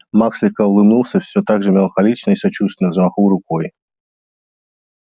маг слегка улыбнулся всё так же меланхолично и сочувственно взмахнул рукой